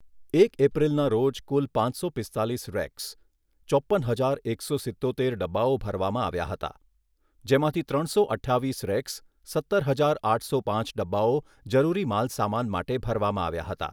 એક એપ્રિલના રોજ કુલ પાંચસો પિસ્તાલીસ રેક્સ, ચોપ્પન હજાર એકસો સિત્તોતેર ડબ્બાઓ ભરવામાં આવ્યા હતા. જેમાંથી ત્રણસો અઠ્ઠાવીસ રેક્સ, સત્તર હજાર આઠસો પાંચ ડબ્બાઓ જરૂરી માલસામાન માટે ભરવામાં આવ્યા હતા.